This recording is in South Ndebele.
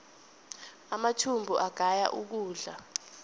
amathumbu agaya ukudla